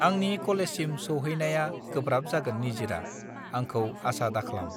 आंनि कलेज सिम सौहैनाया गोब्राब जागोन निजिरा आंखौ आसा दाख्लाम